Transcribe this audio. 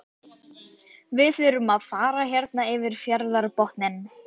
Við þurfum að fara hérna fyrir fjarðarbotninn.